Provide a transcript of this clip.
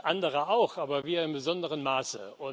Andere auch aber wir im besonderen Maße.